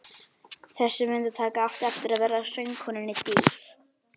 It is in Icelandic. Þessi myndataka átti eftir að verða söngkonunni dýr.